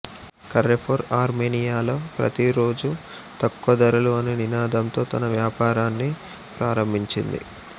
Carrefour ఆర్మేనియాలో ప్రతి రోజూ తక్కువ ధరలు అనే నినాదంతో తన వ్యాపారాన్ని ప్రారంభించింది